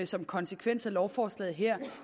som konsekvens af lovforslaget her